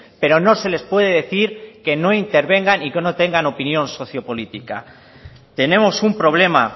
pero no se les puede decir que no intervengan y que no tengan opinión sociopolítica tenemos un problema